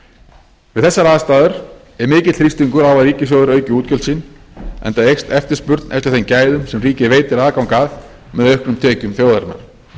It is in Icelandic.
við þessar aðstæður er mikill þrýstingur á að ríkissjóður auki útgjöld sín enda eykst eftirspurn eftir þeim gæðum sem ríkið veitir aðgang að með auknum tekjum þjóðarinnar